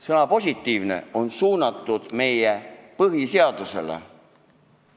Sõna "positiivne" on suunatud meie põhiseadusele.